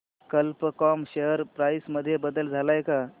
कल्प com share price मध्ये बदल आलाय का